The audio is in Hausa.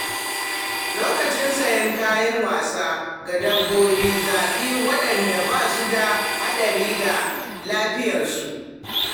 Lokacin sayen kayan wasa ga dabbobi, zaɓi waɗanda ba su da haɗari ga lafiyarsu.